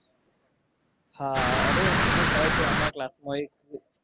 હા અરે મને ખ્યાલ છે. અમારા class માં એક